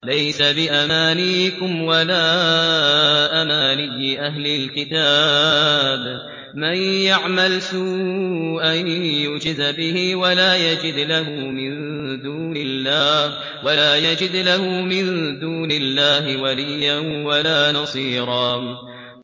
لَّيْسَ بِأَمَانِيِّكُمْ وَلَا أَمَانِيِّ أَهْلِ الْكِتَابِ ۗ مَن يَعْمَلْ سُوءًا يُجْزَ بِهِ وَلَا يَجِدْ لَهُ مِن دُونِ اللَّهِ وَلِيًّا وَلَا نَصِيرًا